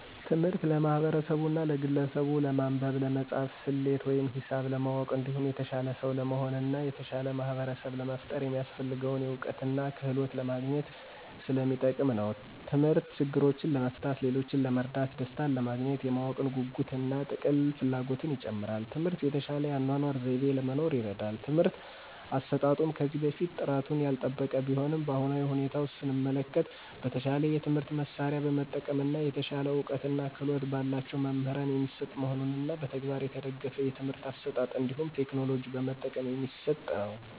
ትምህርት ለማህበርሰቡና ለግለሰቡች ለማንበብ፣ ለመፃፍና፣ ሰሌት ወይም ሂሳብ ለማወቅ እንዲሁም የተሻለ ሰው ለመሆን እና የተሻለ ማህበርሰብ ለመፍጠር የሚያሰፍልገውን እውቀትና ክህሎት ለማግኝት ሰለሚጠቅም ነው። ተምህርት ችግሮችን ለመፍታት፣ ሌሎችን ለመርዳት፣ ደሰታንለማግኘት፣ የማወቅ ጉጉትን እና ጥልቅ ፍላጎትን ይጨምራል። ትምህርት የተሻለ የአኗኗር ዘይቤ ለመኖር ይርዳል። የትምህርት አሰጣጡም ከዚህ በፊት ጥራቱን ያልጠበቀ ቢሆንም በአሁናዊ ሁኔታ ሰመለከት በተሻለ የትምህርት መሳርያ በመጠቀም እና የተሻለ እውቀትና ክህሎት በላቸው መምህራን የሚሰጥ መሆኑንና በተግባር የተደገፍ የትምህርት አሰጣጥ እንዲሁም ቴክኖሎጂ በመጠቀም የሚሰጥ ነው።